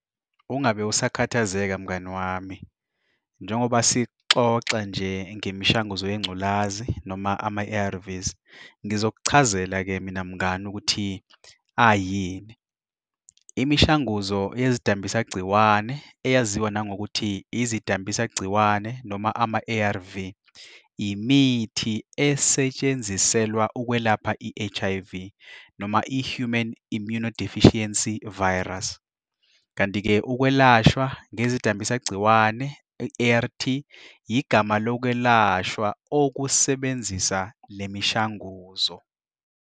Ungabe usakhathazeka mngani wami, njengoba sixoxa nje ngemishanguzo yengculazi noma ama-A_R_Vs. Ngizokuchazela-ke mina mngani ukuthi ayini. Imishanguzo eyeszidambisa gciwane eyaziwa nangokuthi izidambise gciwane noma ama-A_R_V, imithi esetshenziselwa ukwelapha i-H_I_V, noma i-Human Immunodeficiency Virus. Kanti-ke ukwelashwa ngezidambisa gciwane i-A_R_T igama lokwelashwa okusebenzisa lemishanguzo.